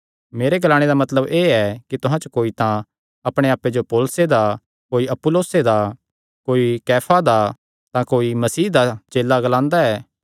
मेरे ग्लाणे दा मतलब एह़ ऐ कि तुहां च कोई तां अपणे आप्पे जो पौलुसे दा कोई अपुल्लोसे दा कोई कैफा दा तां कोई मसीह दा चेला ग्लांदा ऐ